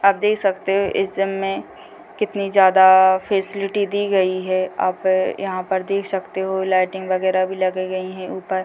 आप देख सकते हैं इस जिम में कितनी ज्यादा फेसिलिटी दी गई है | आप यहाँ पर देख सकते हो लाइटिंग वगैरा भी लगाई गई हैं ऊपर --